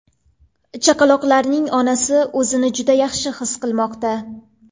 Chaqaloqlarning onasi o‘zini juda yaxshi his qilmoqda.